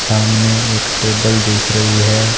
सामने एक टेबल दिख रही है।